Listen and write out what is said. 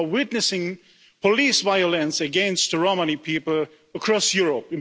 We are witnessing police violence against Romani people across Europe.